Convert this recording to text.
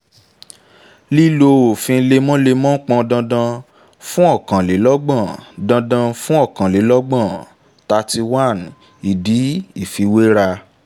lílọ òfin lemọ́lemọ́ pọn dandan fun ọ̀kànlélọ́gbọ̀n dandan fun ọ̀kànlélọ́gbọ̀n thirty one ìdí ìfiwéra